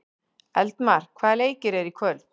Eldmar, hvaða leikir eru í kvöld?